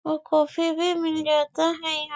और काफी भी मिल जाता है यहाँ--